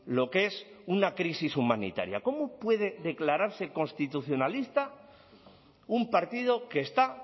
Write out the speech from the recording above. lo que es una crisis humanitaria cómo puede declararse constitucionalista un partido que está